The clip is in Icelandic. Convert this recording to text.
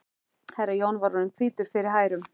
Herra Jón var orðinn hvítur fyrir hærum.